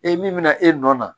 E min bɛna e nɔ na